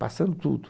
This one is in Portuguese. Passando tudo.